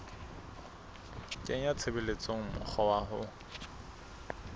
kenya tshebetsong mokgwa wa ho